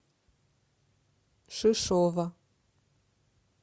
шишова